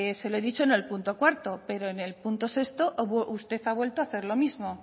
se lo he dicho en el punto cuarto pero en el punto sexto usted ha vuelto a hacer lo mismo